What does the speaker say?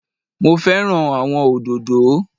Mo fẹ́ràn àwọn òdòdó